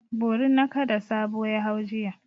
Borin nakada Sabo ya hau jiya.